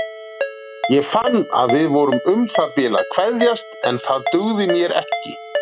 Ég fann að við vorum um það bil að kveðjast en það dugði mér ekki.